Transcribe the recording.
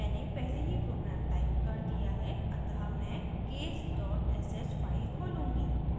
मैंने पहले ही program टाइप कर दिया है अतः मैं case sh फाइल खोलूँगी